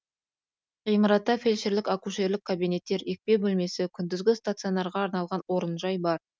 ғимаратта фельдшерлік акушерлік кабинеттер екпе бөлмесі күндізгі стационарға арналған орынжай бар